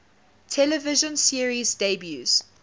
television series debuts